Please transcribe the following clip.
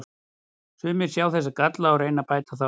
Sumir sjá þessa galla og reyna að bæta þá.